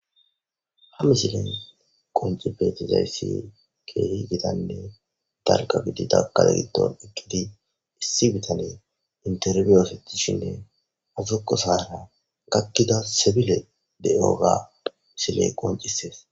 hamisilen qonci beetizayssi keehi gidanne dargabidida kale giton ekkidi issi bitane interryoosetishinne azoko sara gakkida sebile de7oga siley qoncisees